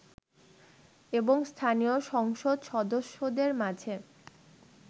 এবং স্থানীয় সংসদ সদস্যদের মাঝে